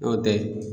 N'o tɛ